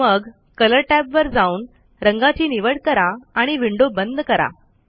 मग कलर टॅबवर जाऊन रंगाची निवड करा आणि विंडो बंद करा